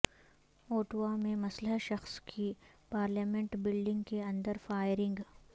Ottawa میں مسلح شخص کی پارلیمنٹ بلڈنگ کے اندر فائرنگ